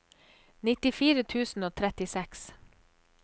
nittifire tusen og trettiseks